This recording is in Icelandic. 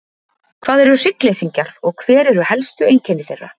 Hvað eru hryggleysingjar og hver eru helstu einkenni þeirra?